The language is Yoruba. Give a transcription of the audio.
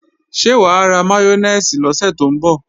Ṣé wà á ra máyónèsì lọ́sẹ̀ tó ń bọ̀?